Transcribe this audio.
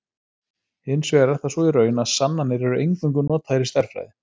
Hins vegar er það svo í raun, að sannanir eru eingöngu notaðar í stærðfræði.